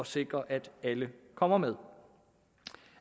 sikre at alle kommer med